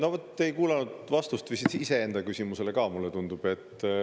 Novot, te ei kuulanud vastust iseenda küsimusele ka, mulle tundub.